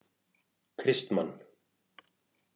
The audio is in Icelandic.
Kristmann